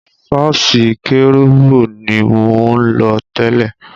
Sọ́ọ́sì kérúbù ni mo ń lọ tẹ́lẹ̀.